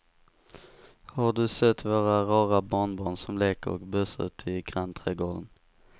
Har du sett våra rara barnbarn som leker och busar ute i grannträdgården!